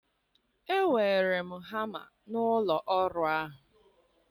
Ewere m hama n'ụlọ ọrụ ahụ.